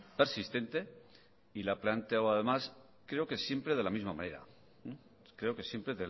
persistente y la ha planteado además creo que siempre de la misma manera creo que siempre